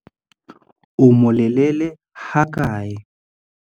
O molelele hakae?